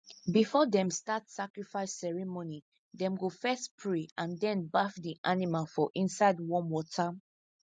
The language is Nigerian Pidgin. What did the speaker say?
before them start sacrifice ceremony them go first pray and then baff the animal for inside warm water